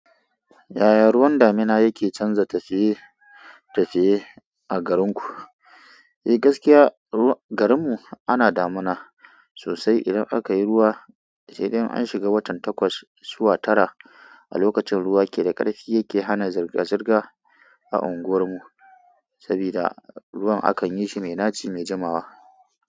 Yaya ruwan damina yake canza tafiye-tafiye a garinku? Eh gaskiya garin mu ana damina sosai idan aka yi ruwa, sai dai an shiga watan takwas zuwa tara a lokacin ruwa ke da karfi yake hana zirga-zirga a unguwar mu. Sabida ruwan akan yi shi mai naci, mai jamawa.